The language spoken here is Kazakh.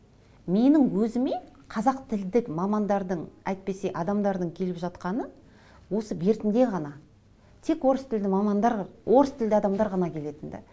менің өзіме қазақ тілдік мамандардың әйтпесе адамдардың келіп жатқаны осы бертінде ғана тек орыс тілді мамандар орыс тілді адамдар ғана келетін ді